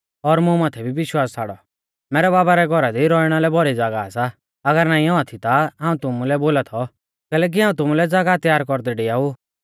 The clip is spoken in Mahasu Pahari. मैरै बाबा रै घौरा दी रौइणा लै भौरी ज़ागाह सा अगर नाईं औआ थी ता हाऊं तुमुलै बौल़ा थौ कैलैकि हाऊं तुमुलै ज़ागाह त्यार कौरदै डेआऊ